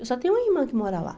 Eu só tenho uma irmã que mora lá.